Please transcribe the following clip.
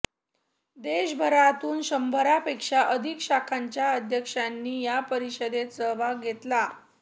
देशभरातून शंभरापेक्षा अधिक शाखांच्या अध्यक्षांनी या परिषदेत सहभाग घेतला